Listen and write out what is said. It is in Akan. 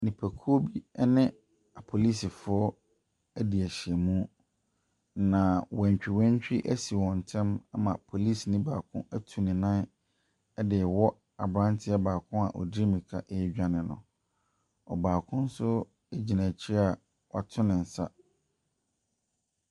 Nipakuo bi ne apolisifoɔ adi ahyiamu. Na wantwiwantwi asi wɔn ntam ama polisini baako atu ne nan de rewɔ aberanteɛ baako a ɔdi mmirika redwane. Ɛbaako nso gyina akyire a wato ne nsa.